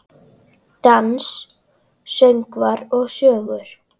Dans, söngvar og sögur.